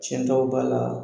Tiɲɛtaw b'a la